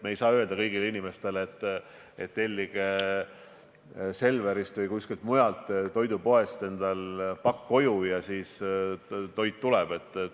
Me ei saa öelda kõigile inimestele, et tellige Selverist või kuskilt mujalt toidupoest endale pakk koju, ja siis toit tuleb.